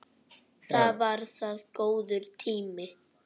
Það var það góður tími.